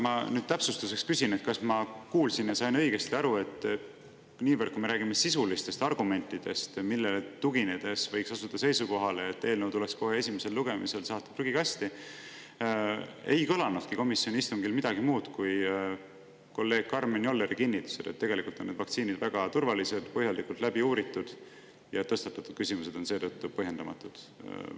Ma nüüd täpsustuseks küsin, kas ma kuulsin õigesti ja sain aru õigesti, et kui me räägime sisulistest argumentidest, millele tuginedes võiks asuda seisukohale, et eelnõu tuleb esimesel lugemisel saata prügikasti, ei kõlanudki komisjoni istungil midagi muud kui kolleeg Karmen Jolleri kinnitus, et tegelikult on need vaktsiinid väga turvalised, põhjalikult läbi uuritud ja tõstatatud küsimused on seetõttu põhjendamatud.